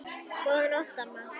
Góðan nótt, amma.